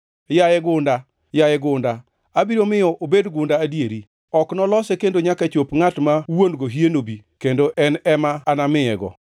Yaye gunda, yaye gunda, abiro miyo obed gunda adier! Ok nolose kendo nyaka chop ngʼat ma wuon-go hie nobi, kendo en ema anamiyego.’